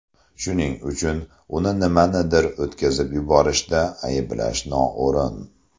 Shuning uchun uni nimanidir o‘tkazib yuborishda ayblash noo‘rin.